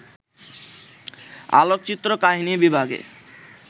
আলোকচিত্র কাহিনী বিভাগে